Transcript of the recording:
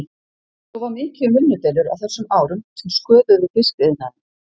Svo var mikið um vinnudeilur á þessum árum sem sköðuðu fiskiðnaðinn.